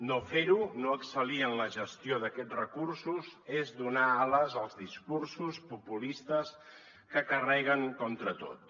no fer ho no excel·lir en la gestió d’aquests recursos és donar ales als discursos populistes que carreguen contra tot